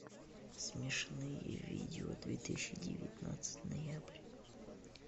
смешные видео две тысячи девятнадцать ноябрь